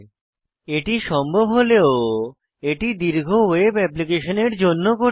এটি সম্ভব হলেও এটি দীর্ঘ ওয়েব অ্যাপ্লিকেশনের জন্য কঠিন